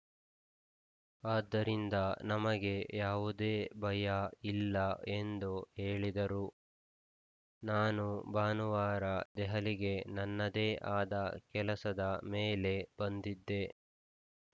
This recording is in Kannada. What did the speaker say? ಆದ್ದರಿಂದ ನನಗೆ ಯಾವುದೇ ಭಯ ಇಲ್ಲ ಎಂದು ಹೇಳಿದರು ನಾನು ಭಾನುವಾರ ದೆಹಲಿಗೆ ನನ್ನದೇ ಆದ ಕೆಲಸದ ಮೇಲೆ ಬಂದಿದ್ದೆ